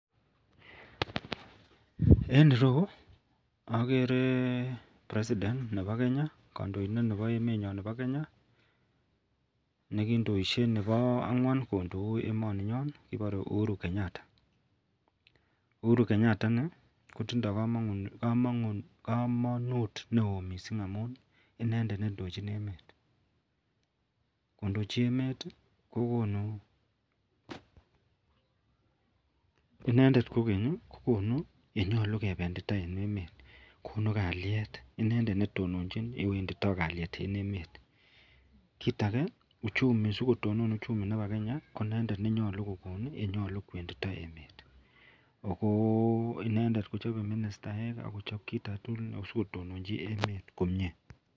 En ireyu okere president Nebo Kenya, kondointet nebo emenyon nebo Kenya nekindoishe nebo angwan kondou emoninyon kibore Uhuru Kenyatta, Uhuru Kenyatta inii ko tindo komonut neoo mising amun inendet nendochin emet, kondochin emet ko konu, inendet kokeny kokonu yenyolu kebendita en emet konuu kaliet, inendet netononchin yewendito kaliet en emet, kiit akee sikotonon uchumi en emet ko inendet nenyolu kokonu yenyolu kwendito emet ak ko inendet kochobe ministaek ak kochob kiit aketukul ak kotononchi emet komie.